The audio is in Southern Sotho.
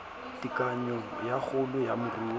tekanyo ya kgolo ya moruo